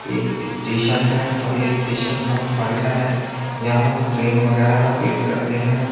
एक स्टेशन है और ये स्टेशन बहुत बढ़िया है यहां हम ट्रेन वगैरा का वेट करते हैं।